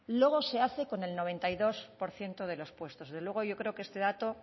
luego se hace con el noventa y dos por ciento de los puestos desde luego yo creo que este dato